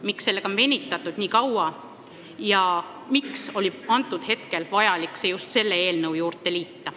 Miks sellega on venitatud nii kaua ja miks oli vaja see just sellesse eelnõusse juurde panna?